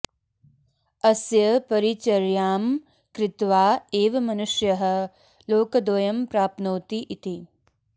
अस्य परिचर्यां कृत्वा एव मनुष्यः लोकद्वयं प्राप्नोति इति